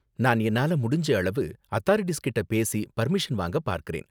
நான் என்னால முடிஞ்ச அளவு அதாரிட்டீஸ் கிட்ட பேசி பர்மிஷன் வாங்கப் பார்க்கறேன்.